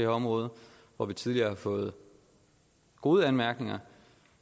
område hvor vi tidligere har fået gode anmærkninger